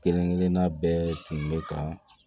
Kelen kelenna bɛɛ tun be ka